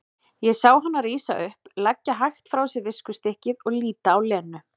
Ég sá hana rísa upp, leggja hægt frá sér viskustykkið og líta á Lenu.